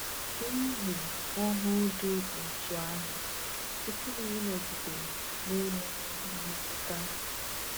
N’ihu ọhụụ dị otú ahụ, ị pụghị ịnọgide na-enweghị mmetụta!